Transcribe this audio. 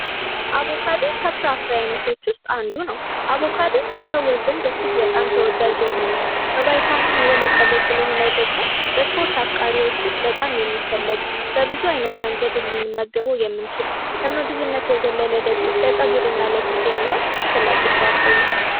አቮካዶ ከፍራ ፍሬ አይነቶች ውስጥ አንዱ ነው:: አቭኦካዶ በሰዎች ዘንድ እጅግ በጣም ተወዳጅ የሆነ በቫይታሚን የበለፀገ ስለሆነ ደግሞ በስፖርት አፍቃሪዎች ውስጥ በጣም የሚፈልግ በብዙ ዓይነት መንገድ ልመገበው የምንችል ከምግብነት በዘለለ ደግሞ ለፀጉርና ለፊት የሚሆን አስፈላጊ ፍራ ፍሬ ነው ::